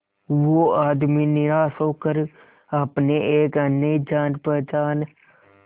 वो आदमी निराश होकर अपने एक अन्य जान पहचान